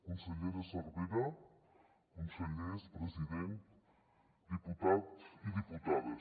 consellera cervera consellers president diputats i diputades